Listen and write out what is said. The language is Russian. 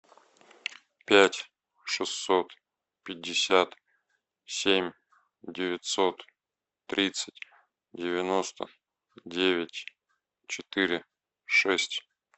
пять шестьсот пятьдесят семь девятьсот тридцать девяносто девять четыре шесть